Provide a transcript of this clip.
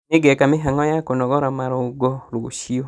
Nĩngeka mĩhang'o ya kũnogora marũngo rũciũ